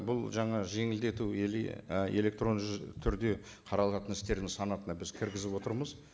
бұл жаңа жеңілдету или і электронды түрде қаралатын істердің санатына біз кіргізіп отырмыз